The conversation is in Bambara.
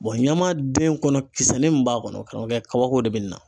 ɲamaden kɔnɔ kisɛ nin min b'a kɔnɔ, karamɔgɔkɛ kabako de bɛ na.